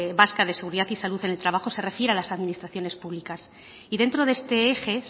vasca de seguridad y salud en el trabajo se refiere a las administraciones públicas y dentro de este eje